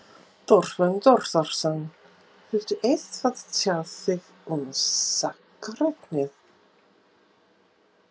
Þorbjörn Þórðarson: Viltu eitthvað tjá þig um sakarefnið?